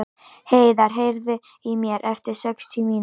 Heiðar, heyrðu í mér eftir sextíu mínútur.